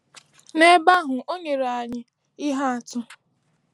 N’ebe ahụ, o nyere anyị ihe atụ.